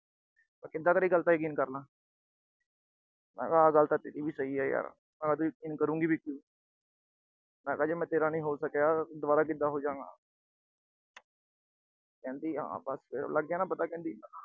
ਮੈਂ ਕਿਦਾਂ ਤੇਰੀ ਗੱਲ ਦਾ ਯਕੀਨ ਕਰ ਲਾਂ। ਮੈਂ ਕਿਹਾ ਆਹ ਗੱਲ ਤਾਂ ਤੇਰੀ ਵੀ ਸਹੀ ਆ ਯਾਰ, ਮੈਂ ਕਿਹਾ ਤੂੰ ਯਕੀਨ ਕਰੂਗੀ ਵੀ ਕਿਉਂ। ਮੈਂ ਕਿਹਾ ਜੇ ਮੈਂ ਤੇਰਾ ਨਹੀਂ ਹੋ ਸਕਿਆ, ਤਾਂ ਦੁਬਾਰਾ ਕਿਦਾਂ ਹੋਜਾਗਾਂ। ਕਹਿੰਦੀ ਹਾਂ ਬਸ, ਲੱਗ ਗਿਆ ਨਾ ਪਤਾ ਕਹਿੰਦੀ।